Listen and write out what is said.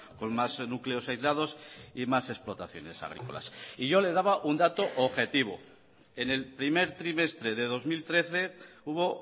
con más núcleos aislados y más explotaciones agrícolas y yo le daba un dato objetivo en el primer trimestre de dos mil trece hubo